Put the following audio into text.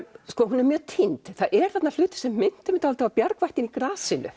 hún er mjög týnd það eru þarna hlutir sem minntu mig dálítið á bjargvættinn í grasinu